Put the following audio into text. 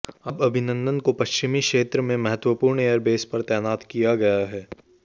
अब अभिनंदन को पश्चिमी क्षेत्र में महत्वपूर्ण एयरबेस पर तैनात किया गया है